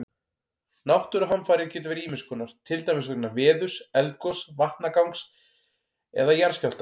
Náttúruhamfarir geta verið ýmis konar, til dæmis vegna veðurs, eldgoss, vatnagangs eða jarðskjálfta.